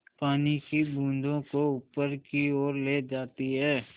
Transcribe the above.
पानी की बूँदों को ऊपर की ओर ले जाती है